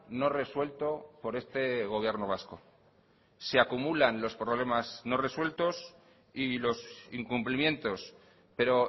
no resuelto por este gobierno vasco se acumulan los problemas no resueltos y los incumplimientos pero